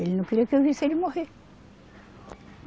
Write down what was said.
Ele não queria que eu visse ele morrer.